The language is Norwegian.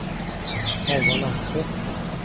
Halvard Langseth